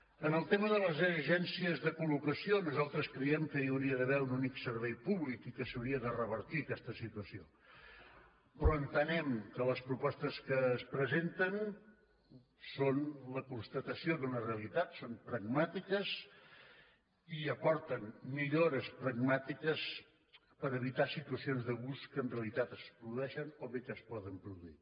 en el tema de les agències de col·locació nosaltres creiem que hi hauria d’haver un únic servei públic i que s’hauria de revertir aquesta situació però entenem que les propostes que es presenten són la constatació d’una realitat són pragmàtiques i aporten millores pragmàtiques per evitar situacions d’abús que en realitat es produeixen o bé que es poden produir